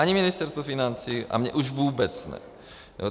Ani Ministerstvu financí, a mně už vůbec ne.